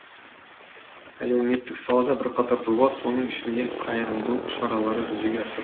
әлеуметтік салада бірқатар жоба соның ішінде қайырымдылық шаралары жүзеге асыр